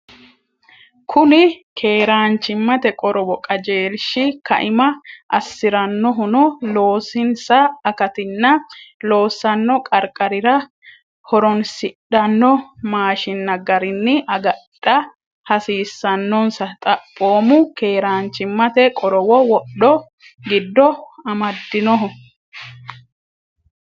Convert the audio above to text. Kuni keeraanchimmate qorowo qajeelshi kaima assi’rannohuno loosinsa akatinna loossanno qarqarira ho’roonsidhanno maashiinna garinni agadha hasiissannonsa xaphoomu keeraanchimmate qorowo wodho giddo amadinnoho.